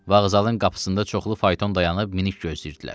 Vağzalın qapısında çoxlu fayton dayanıb minik gözləyirdilər.